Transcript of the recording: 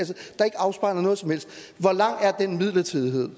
afspejler noget som helst hvor lang er den midlertidighed